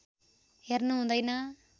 हेर्नु हुँदैन